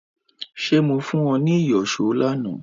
Ṣé mo fún ọ ní ìyọ̀ṣó lánàá